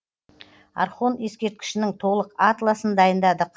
орхон ескерткішінің толық атласын дайындадық